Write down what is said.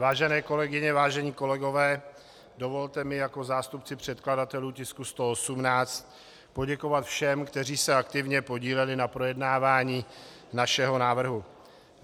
Vážené kolegyně, vážení kolegové, dovolte mi jako zástupci předkladatelů tisku 118 poděkovat všem, kteří se aktivně podíleli na projednávání našeho návrhu.